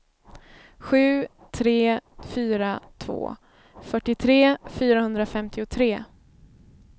sju tre fyra två fyrtiotre fyrahundrafemtiotre